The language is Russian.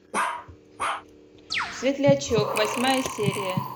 светлячок восьмая серия